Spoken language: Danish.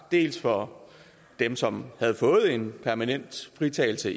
dels for dem som havde fået en permanent fritagelse